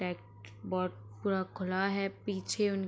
खुला है पीछे उन --